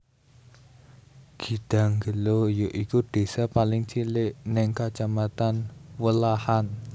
Gidangelo ya iku désa paling cilik ning Kacamatan Welahan